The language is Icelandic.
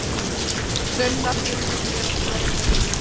Sunna, stundum gerast hræðilegir hlutir.